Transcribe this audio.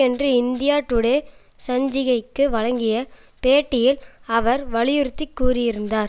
ஒன்று India Today சஞ்சிகைக்கு வழங்கிய பேட்டியில் அவர் வலியுறுத்தி கூறியிருந்தார்